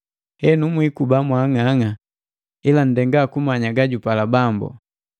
Henu, mwiikuba mwaang'ang'a, ila nndenga kumanya gajupala Bambu.